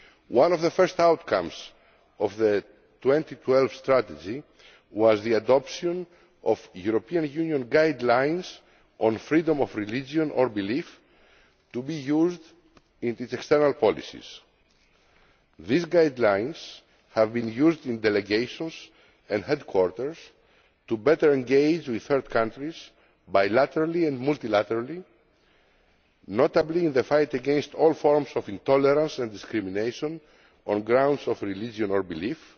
One of the first outcomes of the 2012 strategy was the adoption of European Union guidelines on freedom of religion or belief, to be used in its external policies. These guidelines have been used in delegations and headquarters to better engage with third countries, bilaterally and multilaterally, notably in the fight against all forms of intolerance and discrimination on grounds of religion or belief